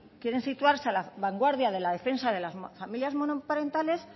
quieren situarse a la vanguardia de la defensa de las familias monoparentales